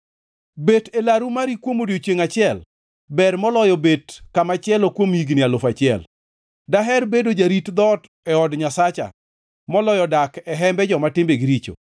Bet e laru mari kuom odiechiengʼ achiel ber moloyo bet kamachielo kuom higni alufu achiel; daher bedo jarit dhoot e od Nyasacha, moloyo dak e hembe joma timbegi richo.